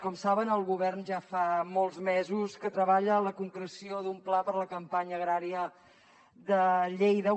com saben el govern ja fa molts mesos que treballa la concreció d’un pla per la campanya agrària de lleida